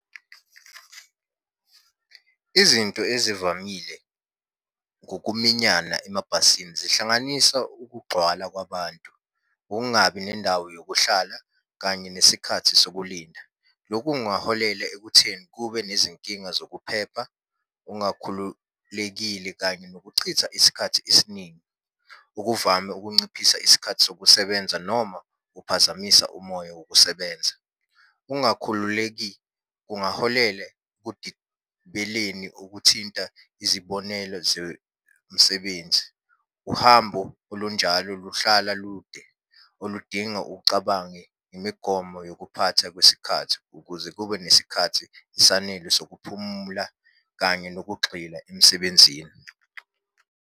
Izinto ezivamile ngokuminyana emabhasini zihlanganisa ukugcwala kwabantu, ukungabi nendawo yokuhlala kanye nesikhathi sokulinda. Lokhu kungaholela ekutheni kube nezinkinga zokuphepha, ungakhululekile, kanye nokuchitha isikhathi esiningi, okuvame ukunciphisa isikhathi sokusebenza noma uphazamisa umoya wokusebenza. Ungakhululeki kungaholela kugibeleni okuthinta izibonelo zemsebenzi. Uhambo olunjalo luhlala lude, oludinga ucabange imigomo yokuphatha kwesikhathi, ukuze kube nesikhathi esanele sokuphumula kanye nokugxila emsebenzini.